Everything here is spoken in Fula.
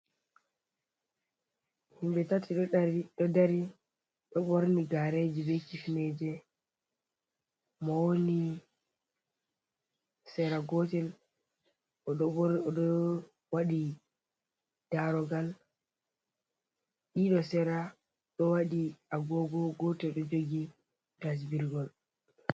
Himbe tati ɗo dari ɗo borni gareji be kifneje, mo woni sera gotel oɗo waɗi darogal, ɗiɗo sera ɗo waɗi agogo gotel ɗo jogi tasbirgol.